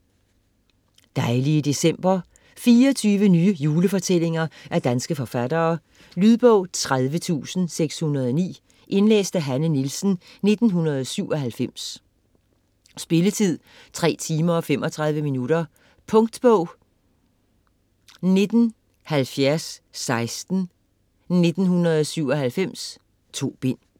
Dejlige december 24 nye julefortællinger af danske forfattere. Lydbog 30609 Indlæst af Hanne Nielsen, 1997. Spilletid: 3 timer, 35 minutter. Punktbog 197016 1997.2 bind.